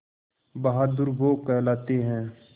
बहादुर वो कहलाते हैं